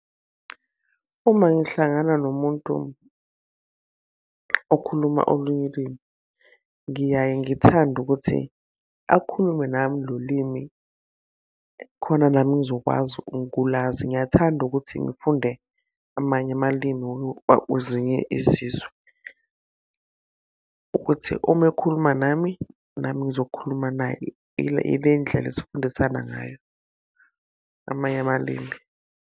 Uma ngihlangana nomuntu okhuluma olunye ulimi, ngiyaye ngithande ukuthi, akhulume nami lo limi khona nami ngizokwazi ukulazi. Ngiyathanda ukuthi ngifunde amanye amalimi uzinye izizwe. Ukuthi uma ekhuluma nami nami ngizokhuluma naye. Ile ndlela esifundisana ngayo amanye amalimi.